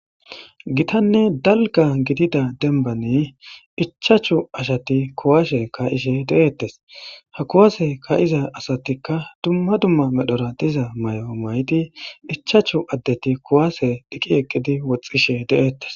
Githanne dalgga gidiza dembbani ichchashu asathi kuwaase kaa7ishe de7eeththes;ha kuwaase kaa7ida asathikka dumma dumma medhora diza mayo mayidi ichchashu addethi kuwaase oyqqi eqqidi woxxishe de7eeththes.